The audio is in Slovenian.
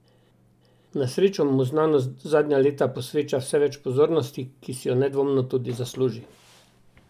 Na srečo mu znanost zadnja leta posveča vse več pozornosti, ki si jo nedvomno zasluži.